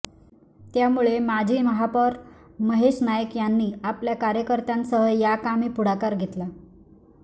त्यामुळे माजी महापौर महेश नाईक यांनी आपल्या कार्यकर्त्यांसह या कामी पुढाकार घेतला